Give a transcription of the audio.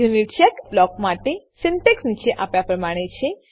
યુનિચેક block માટે syntax નીચે આપ્યા પ્રમાણે છે